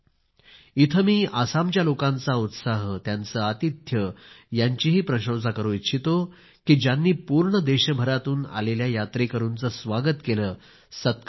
इथे मी आसामच्या लोकांचा उत्साह त्यांचे आतिथ्य यांची प्रशंसा करू इच्छितो की ज्यांनी पूर्ण देशभरातून आलेल्या यात्रेकरूंचे स्वागत केले सत्कार केला